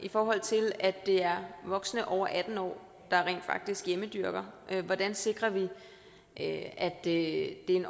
i forhold til at det er voksne over atten år der rent faktisk hjemmedyrker hvordan sikrer vi at det